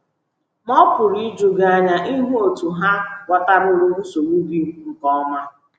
Ma ọ pụrụ iju gị anya ịhụ otú ha ghọtaruru nsogbu gị nke ọma.